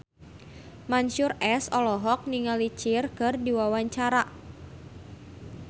Mansyur S olohok ningali Cher keur diwawancara